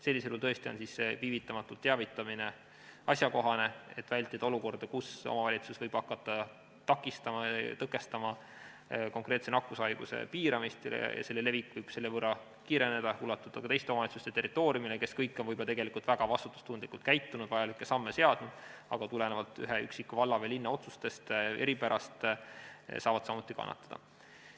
Sellisel juhul on tõesti see viivitamatult teavitamine asjakohane, et vältida olukorda, kus omavalitsus võib hakata takistama, tõkestama konkreetse nakkushaiguse piiramist ja selle levik võib selle võrra kiireneda, ulatuda ka teiste omavalitsuste territooriumile, kes on võib-olla väga vastutustundlikult käitunud, vajalikke samme teinud, aga tulenevalt ühe üksiku valla või linna otsuste eripärast saavad samuti kannatada.